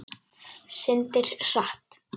Syndir hratt.